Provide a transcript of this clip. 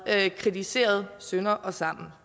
kritiseret sønder og sammen